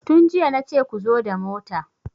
Tun jiya nace ku zo da mota!